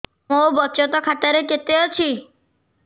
ମୋ ବଚତ ଖାତା ରେ କେତେ ଅଛି